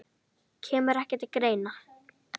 Kemur ekki til greina